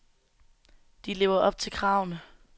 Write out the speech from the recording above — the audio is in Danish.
De lever op til kravene.